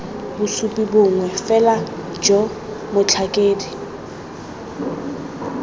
bosupi bongwe fela jo motlhakedi